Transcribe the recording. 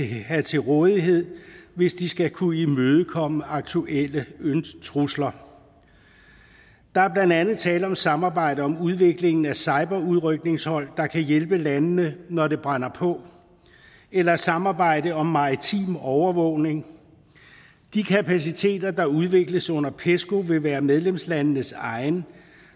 have til rådighed hvis de skal kunne imødekomme aktuelle trusler der er blandt andet tale om samarbejde om udviklingen af cyberudrykningshold der kan hjælpe landene når det brænder på eller et samarbejde om maritim overvågning de kapaciteter der udvikles under pesco vil være medlemslandenes egne